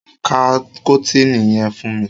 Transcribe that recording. Ká kọ́tìnì yẹn fún mi!